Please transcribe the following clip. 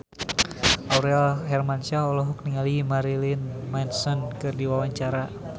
Aurel Hermansyah olohok ningali Marilyn Manson keur diwawancara